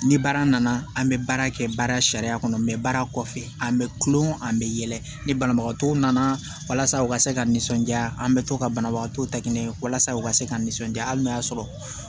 Ni baara nana an bɛ baara kɛ baara sariya kɔnɔ baara kɔfɛ a bɛ kulon an bɛ yɛlɛ ni banabagatɔw nana walasa u ka se ka nisɔndiya an bɛ to ka banabagatɔ ta minɛ walasa u ka se ka nisɔndiya hali n'a y'a sɔrɔ